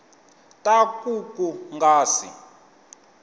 ta ku ku nga si